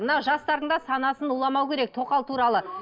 мына жастардың да санасын уламау керек тоқал туралы